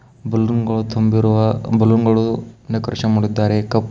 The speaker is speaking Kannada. ಬಲೂನ್ಗಳು ತುಂಬಿರುವ ಬಲೂನ್ಗಳು ಡೆಕೋರೇಷನ್ ಮಾಡುತ್ತಿದ್ದಾರೆ ಕಪ್ಪು --